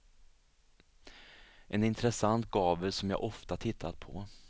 En intressant gavel som jag ofta tittat på.